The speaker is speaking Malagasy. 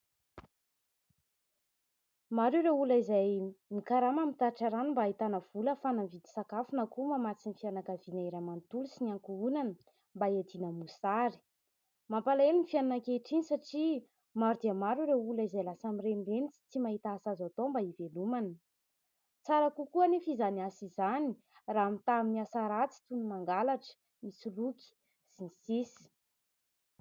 Maro ireo olona izay mikarama mitatitra rano mba hahitana vola ahafahana mividy sakafo na koa mamatsy ny fianakaviana iray manontolo sy ny ankohonana mba hiadiana amin'ny mosary. Mampalahelo ny fiainana ankehitriny satria maro dia maro ireo olona izay lasa mirenireny sy tsy mahita asa azo atao mba hivelomana. Tsara kokoa anefa izany asa izany raha mitaha amin'ny asa ratsy toy ny mangalatra, misoloky, sy ny sisa.